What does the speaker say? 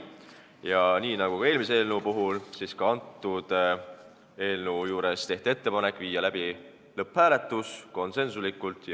Ja ka selle eelnõu puhul tehti konsensusega ettepanek viia läbi lõpphääletus.